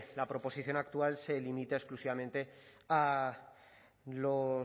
la proposición actual se limita exclusivamente a los